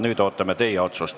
Nüüd ootame teie otsust.